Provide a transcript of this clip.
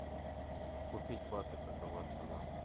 купить баты какова цена